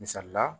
Misali la